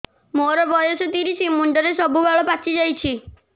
ମୋର ବୟସ ତିରିଶ ମୁଣ୍ଡରେ ସବୁ ବାଳ ପାଚିଯାଇଛି